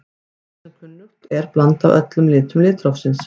Hvítt er sem kunnugt er blanda af öllum litum litrófsins.